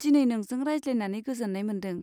दिनै नोंजों रायज्लायनानै गोजोन्नाय मोन्दों।